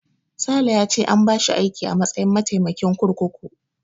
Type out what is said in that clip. Sale ya ce an bashi aiki a matsayin mataimakin kurkuku.